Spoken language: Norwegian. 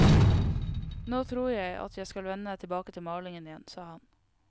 Nå tror jeg at jeg skal vende tilbake til malingen igjen, sa han.